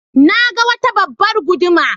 Na ga wata babbar guduma.